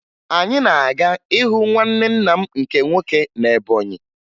Anyị na-aga ịhụ nwanne nna m nke nwoke na Ebọnyị